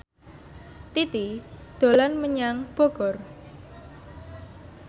Titi dolan menyang Bogor